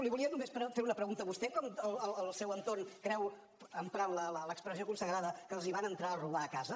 li volia només fer una pregunta vostè com el seu entorn creu emprant l’expressió consagrada que els van entrar a robar a casa